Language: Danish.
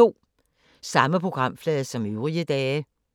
Samme programflade som øvrige dage